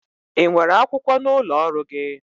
Ị nwere akwụkwọ n'ụlọ ọrụ gị?